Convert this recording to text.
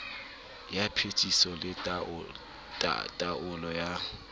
ya phetiso le taolo ya